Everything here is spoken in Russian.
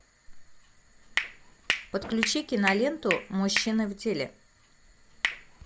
подключи киноленту мужчины в деле